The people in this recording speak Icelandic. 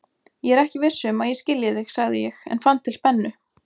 Ég er ekki viss um að ég skilji þig, sagði ég en fann til spennu.